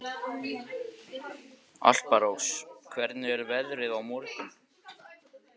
Alparós, hvernig er veðrið á morgun?